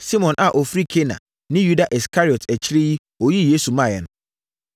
Simon a ɔfiri Kana ne Yuda Iskariot a akyire yi, ɔyii Yesu maeɛ no.